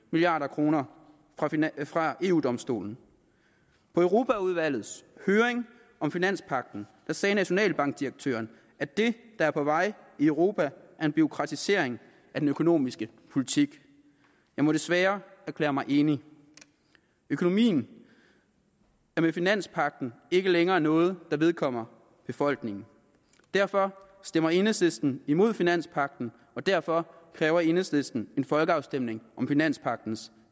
milliard kroner fra eu domstolen på europaudvalgets høring om finanspagten sagde nationalbankdirektøren at det er på vej i europa er en bureaukratisering af den økonomiske politik jeg må desværre erklære mig enig økonomien er med finanspagten ikke længere noget der vedkommer befolkningen derfor stemmer enhedslisten imod finanspagten og derfor kræver enhedslisten en folkeafstemning om finanspagtens